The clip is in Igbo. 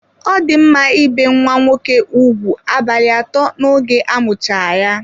Ọ di mma ibe nwa nwoke ụgwụ abalị atọ n'oge amucha ya.